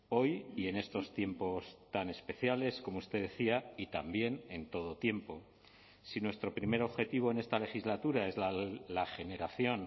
hoy y en estos tiempos tan especiales como usted decía y también en todo tiempo si nuestro primer objetivo en esta legislatura es la generación